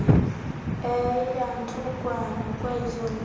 eyantlukwano kweze ndalo